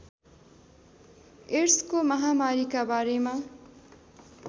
एड्सको महामारीका बारेमा